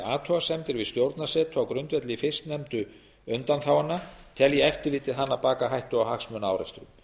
athugasemdir við stjórnarsetu á grundvelli fyrstnefndu undanþágnanna telji eftirlitið hana baka hættu á hagsmunaárekstra